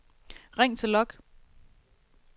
ring til log